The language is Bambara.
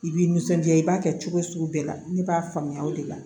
I b'i nisɔndiya i b'a kɛ cogo sugu bɛɛ la ne b'a faamuya o de la